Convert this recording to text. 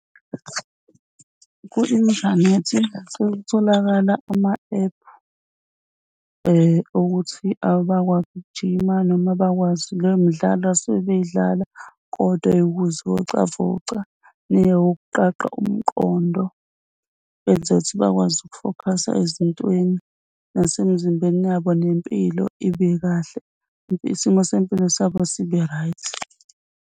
Ku-inthanethi sekutholakala ama-app okuthi bakwazi ukujima noma abakwazi leyo midlalo asuke beyidlala kodwa yokuzivocavoca neyokuqaqa umqondo benzela ukuthi bakwazi ukufokhasa ezintweni, nasemzimbeni yabo nempilo ibe kahle, isimo sempilo sabo sibe right.